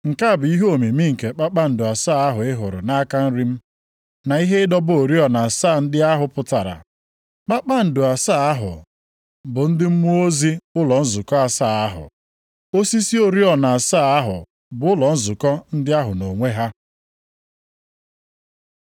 Nke a bụ ihe omimi nke kpakpando asaa ahụ ị hụrụ nʼaka nri m, na ihe ịdọba oriọna asaa ndị ahụ pụtara. Kpakpando asaa ahụ bụ ndị mmụọ ozi ụlọ nzukọ asaa ahụ. Osisi oriọna asaa ahụ bụ ụlọ nzukọ ndị ahụ nʼonwe ha.